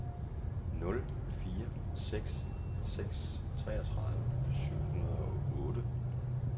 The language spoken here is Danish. nul fire seks seks treogtredive syv hundrede og otte